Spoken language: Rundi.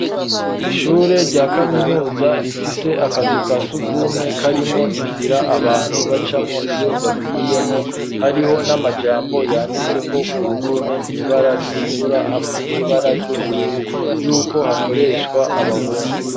Ishure, rya kaminuza rifise akazukasugumwe , karimwo, inzira ,abantu bacamwo, iyo bagiyemwo, hariho n'amajambo yanditseko, ku ruhome mwibara ritukura, hamwe n'ibara ry'ubururu, y'uko hakoreshwa abahungu.